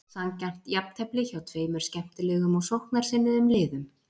Sanngjarnt jafntefli hjá tveimur skemmtilegum og sóknarsinnuðum liðum.